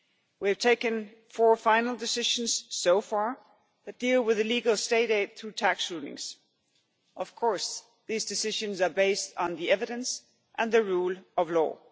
We have taken four final decisions, so far, that deal with illegal state aid through tax rulings. Of course, these decisions are based on the evidence and the rule of law.